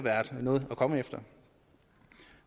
noget at komme efter